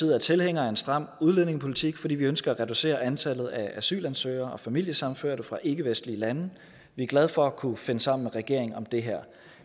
er tilhængere af en stram udlændingepolitik fordi vi ønsker at reducere antallet af asylansøgere og familiesammenførte fra ikkevestlige lande vi er glade for at kunne finde sammen med regeringen om det her